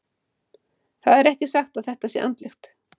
Það er ekki satt að þetta sé andlegt.